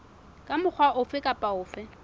ka mokgwa ofe kapa ofe